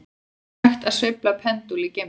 Er hægt að sveifla pendúl í geimnum?